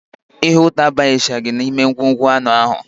Ihe ụtọ abanyechaghị n'ime ngwugwu anụ ahụ